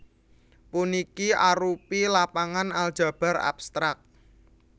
Puniki arupi lapangan aljabar abstrak